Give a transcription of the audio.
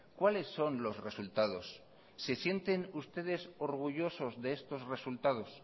cuáles son los resultados se sienten ustedes orgullosos de estos resultados